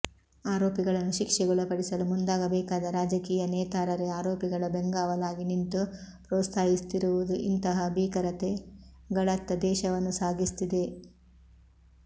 ಆರೋಪಿಗಳನ್ನು ಶಿಕ್ಷೆಗೊಳಪಡಿಸಲು ಮುಂದಾಗಬೇಕಾದ ರಾಜಕೀಯ ನೇತಾರರೇ ಆರೋಪಿಗಳ ಬೆಂಗಾವಲಾಗಿ ನಿಂತು ಪ್ರೋತ್ಸಾಹಿಸುತ್ತಿರುವುದು ಇಂತಹ ಭೀಕರತೆಗಳತ್ತ ದೇಶವನ್ನು ಸಾಗಿಸುತ್ತಿದೆ